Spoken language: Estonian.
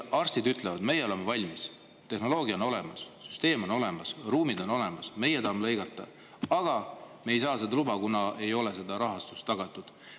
Arstid ütlevad, et nemad on valmis, tehnoloogia on olemas, süsteem on olemas, ruumid on olemas, nad tahavad lõigata, aga nad ei saa luba seda, kuna ei ole rahastust tagatud.